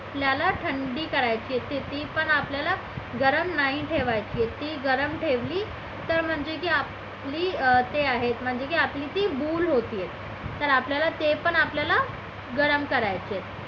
आपल्याला थंडी करायची आहे ती पण आपल्याला गरम नाही ठेवायचे आहे ते गरम ठेवली की तर म्हणजे की आपली ते आहे अं म्हणजे की ती भूल होत आहे तर आपल्याला ते पण आपल्याला गरम करायचं आहे.